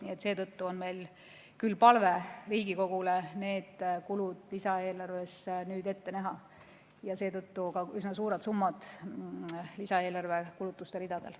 Nii et seetõttu on meil küll palve Riigikogule need kulud lisaeelarves ette näha ja seetõttu on ka üsna suured summad lisaeelarve kulutuste ridadel.